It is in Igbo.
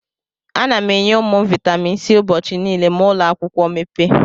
Ana m enye ụmụ m Vaitamin C ụbọchị niile ma ụlọakwụkwọ mepee.